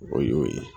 O y'o ye